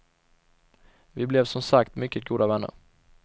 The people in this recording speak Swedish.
Vi blev som sagt mycket goda vänner.